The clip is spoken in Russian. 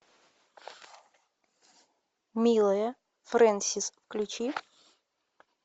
милая фрэнсис включи